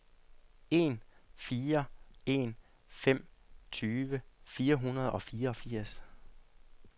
en fire en fem tyve fire hundrede og fireogfirs